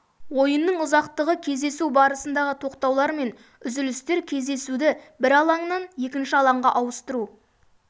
ойынның ұзақтығы кездесу барысындағы тоқтаулар мен үзілістер кездесуді бір алаңнан екінші алаңға ауыстыру